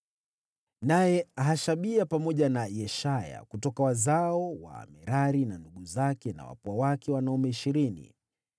Naye Hashabia, pamoja na Yeshaya kutoka wazao wa Merari na ndugu zake na wapwa wake wanaume ishirini.